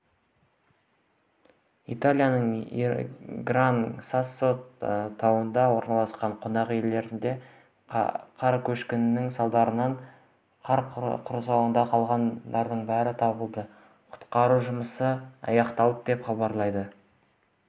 италияның гран-сассо тауында орналасқан қонақ үйінде қар көшкінінің салдарынан қар құрсауында қалғандардың бәрі табылды құтқару жұмыстары аяқталды деп хабарлады